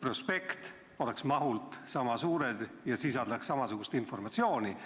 prospekt oleks mahult sama suured ja sisaldaks samasugust informatsiooni.